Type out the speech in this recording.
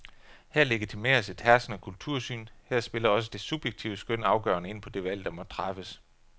Her legitimeres et herskende kultursyn, her spiller også det subjektive skøn afgørende ind på det valg, der må træffes.